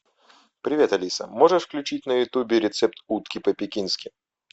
привет алиса можешь включить на ютубе рецепт утки по пекински